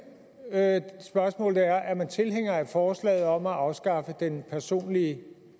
spørgsmål er er man tilhænger af forslaget om at afskaffe den personlige